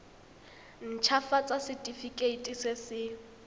nt hafatsa setefikeiti se se